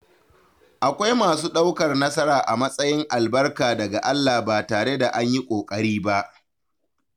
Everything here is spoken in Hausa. Akwai masu ɗaukar nasara a matsayin albarka daga Allah ba tare da an yi ƙoƙari ba.